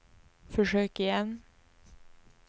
försök igen